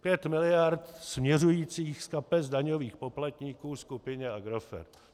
5 miliard směřujících z kapes daňových poplatníků skupině Agrofert.